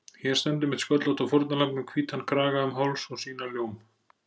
Hér stendur mitt sköllótta fórnarlamb með hvítan kraga um háls og sína ljóm